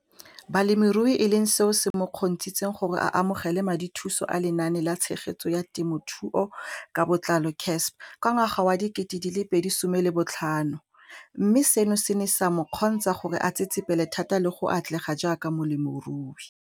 Balemirui e leng seo se mo kgontshitseng gore a amogele madithuso a Lenaane la Tshegetso ya Te mothuo ka Botlalo, CASP] ka ngwaga wa 2015, mme seno se ne sa mo kgontsha gore a tsetsepele thata le go atlega jaaka molemirui.